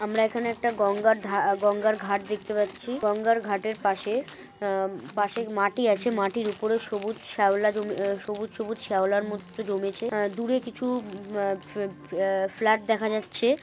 আমরা এখনে একটা গঙ্গার ধা গঙ্গার ঘাট দেখতে পাচ্ছি গঙ্গার ঘাটের পাশে আহম পাশের মাটি আছে মাটির উপরে সবুজ শ্যাওলা জমে আ সবুজ সবুজ শ্যাওলার মতো জমেছে আহ দূরে কিছু মা ফ্ল ফ্লা ফ্লাট দেখা যাচ্ছে।